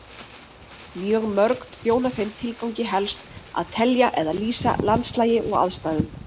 Mjög mörg þjóna þeim tilgangi helst að telja eða lýsa landslagi og aðstæðum.